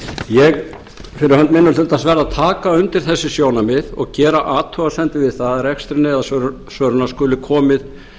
ég fyrir hönd minni hlutans verð að taka undir þessi sjónarmið og gera athugasemdir við það að rekstrinum eða sölunni skuli komið